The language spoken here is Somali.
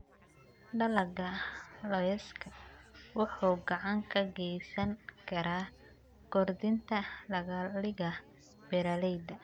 Dalagga lawska wuxuu gacan ka geysan karaa kordhinta dakhliga beeralayda.